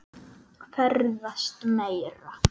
Ferðast meira.